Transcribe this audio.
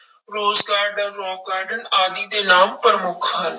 Rose garden, rock garden ਆਦਿ ਦੇ ਨਾਮ ਪ੍ਰਮੁੱਖ ਹਨ।